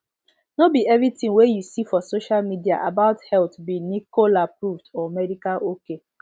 no be every thing wey you see for social media about health be nicoleapproved or medical ok